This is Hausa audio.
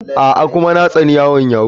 A'a, kuma na tsani yaron yahoo.